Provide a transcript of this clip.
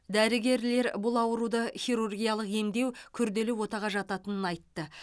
дәрігерлер бұл ауруды хирургиялық емдеу күрделі отаға жататынын айтты